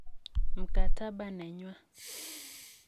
mkataba nenywa.